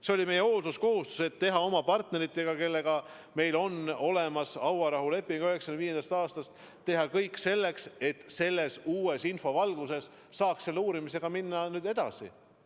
See oli meie hoolsuskohustus: teha oma partneritega, kellega meil on 1995. aastast hauarahuleping, kõik selleks, et selle uue info valguses saaks uurimisega nüüd edasi minna.